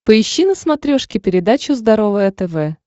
поищи на смотрешке передачу здоровое тв